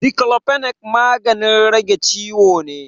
Diclofenac magannin rage ciwo ne.